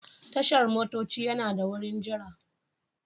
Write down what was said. Tashar motoci yana da wurin jira.